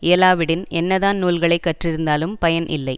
இயலாவிடின் என்னதான் நூல்களை கற்றிருந்தாலும் பயன் இல்லை